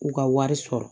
U ka wari sɔrɔ